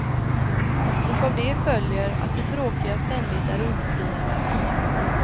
Och av det följer att det tråkiga ständigt är undflyende.